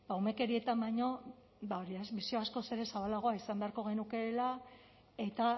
umekeriatan baino bisio askoz ere zabalagoa izan beharko genukeela eta